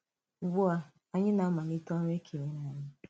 Ugbu a, anyị na-amàlite ọrụ e kènyèrè anyị.